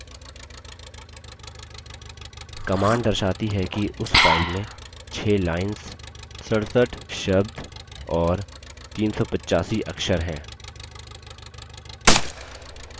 command दर्शाती है कि उस file में 6 lines 67 शब्द और 385 अक्षर हैं